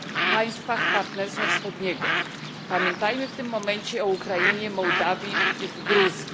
państwach Partnerstwa Wschodniego, pamiętajmy w tym momencie o Ukrainie, Mołdawii i Gruzji.